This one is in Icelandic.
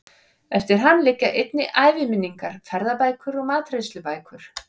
Eftir hann liggja einnig æviminningar, ferðabækur og matreiðslubækur.